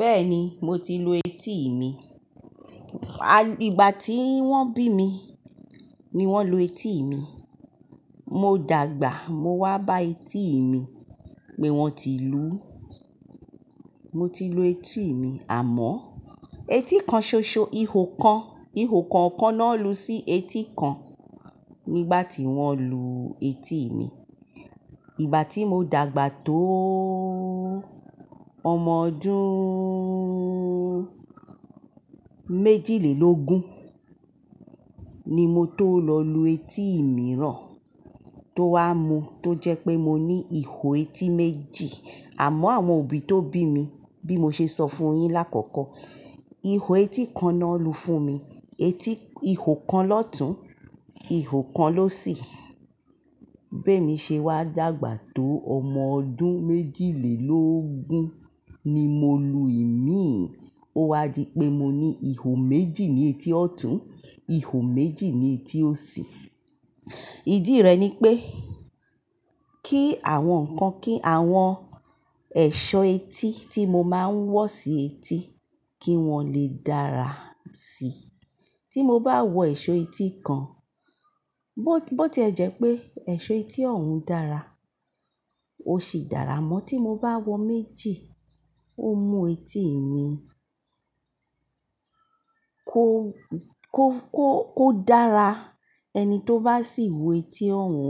Bẹ́ẹ̀ni mo ti lu etí mi. Ìgbà tí wọ́n bí mi, ni wọ́n lu etí mi. Mo dàgbà, mo wá bá etí mi pé wọ́n ti lù ú. Mo ti lu etí mi àmọ́ etí kan ṣoṣo, ihò kan, ihò kan ọ̀kan náà lu sí etí kan nígbà tí wọ́n lu etí mi. Ìgbà tí mo dàgbà tóó ọmọ ọdún méjìlélógún ni mo tó lọ lu etí mìíràn tó wá mu tó jẹ́ pé mo ní ihò etí méjì. Àmọ́ àwọn òbí tó bí mi, bí mo ṣe sọ fún yin lákọ̀ọ̀kọ́, ihò etí kan náà lu fún mi, etí ihò kan lọ́tún, ihò kan lọ́ṣì. Bẹ́ẹ̀mi ṣe wá dàgbà tó ọmọ ọdún méjìlélógún ni mo lu ẹ̀mí òwá di pé mo ní ihò méjì ní etí ọ̀tún, ihò méjì ní etí òsì. Ìdí rẹ̀ ni pé kí àwọn nǹkan kí àwọn ẹ̀ṣọ́ etí tí mo máa ń wọ̀ sí etí kí wọ́n lè dára síi. Tí mo bá wọ ẹ̀ṣọ́ etí kan, bó tí ẹ jẹ́ pé ẹ̀ṣọ́ etí ọ̀hún dára, ó sì dára mọ́ tí mo bá wọ méjì, ó mú etí mi kó, kó, kó, kó dára. Ẹni tó bá sì wò etí ọ̀hún,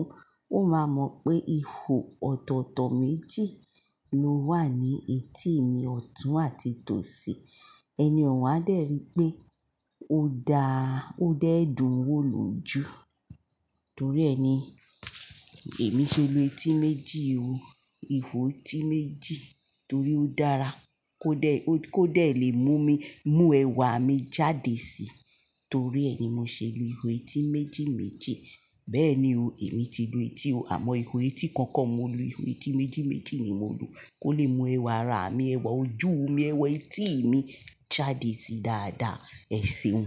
ó máa mọ̀ pé ihò ọ̀tọ̀ọ̀tọ̀ méjì ló wà ní etí mi, ọ̀tún àti tòsì. Ẹni ọ̀hún á dẹ́ri pé ó dá, ó dẹ́ẹ̀dún wó l'ojù. Torí ẹ ni èmi ṣe lu etí méjì o. Ihò etí méjì torí ó dára kó dẹ́, kó dẹ̀ lè mú mi, mú ẹwà mi jáde síi. Torí ẹ ni mo ṣe lu ihò etí méjì méjì. Bẹ́ẹ̀ni o èmi ti lu etí o àmọ́ ihò etí kan kan mo lu, ihò etí méjì méjì ni mo lu kó lè mú ẹwà ara mi, ẹwà ojú mi, ẹwà etí mi jáde sí dáadáa. Ẹ̀ṣẹ̀hun.